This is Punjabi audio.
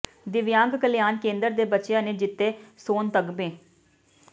ਦਿਵਿਆਂਗ ਕਲਿਆਣ ਕੇਂਦਰ ਦੇ ਬੱਚਿਆਂ ਨੇ ਜਿੱਤੇ ਸੋਨ ਤਗ਼ਮੇ